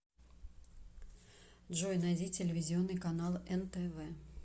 джой найди телевизионный канал нтв